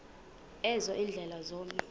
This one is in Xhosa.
ezo ziindlela zomzi